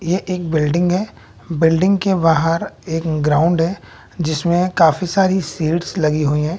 यह एक बिल्डिंग है बिल्डिंग के बाहर एक ग्राउंड है जिसमें काफी सारी सीट्स लगी हुई हैं।